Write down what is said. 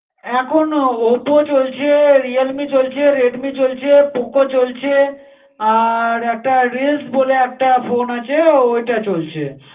এখন OPPO চলছে, REAE চলছে, Redmi চলছে, POCO চলছে, আর একটা Reels বলে একটা phone আছে ওটা চলছে।